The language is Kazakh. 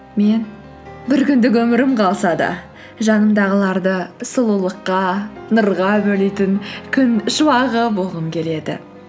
мен бір күндік өмірім қалса да жанымдағыларды сұлулыққа нұрға бөлейтін күн шуағы болғым келеді